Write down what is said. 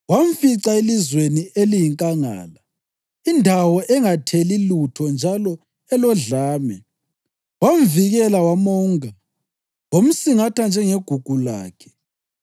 Wamfica elizweni eliyinkangala, indawo engatheli lutho njalo elodlame. Wamvikela, wamonga; wamsingatha njengegugu lakhe,